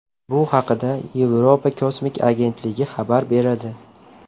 Bu haqda Yevropa kosmik agentligi xabar beradi .